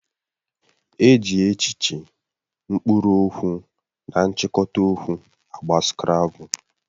E ji echiche, mkpụrụ okwu na nchikota okwu agba skrabul